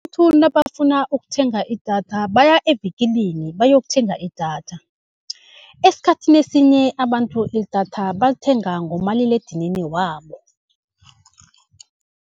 nabafuna ukuthenga idatha baya evikilini bayokuthenga idatha. Esikhathini esinye abantu idatha balithenga ngomaliledinini wabo.